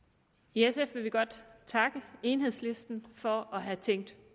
i sf vil vi godt takke enhedslisten for at have tænkt